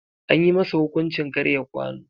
Anyi masa hukuncin karya kwano.